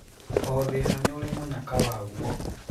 Oo thina niũri mũnyaka waguo.